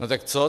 No tak co?